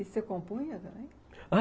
E você compunha também? a